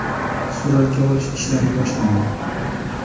Suratga olish ishlari boshlandi.